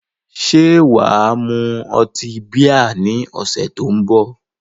Ṣé wà á mu ọtí bíà ní ọ̀sẹ̀ tó ń bọ̀?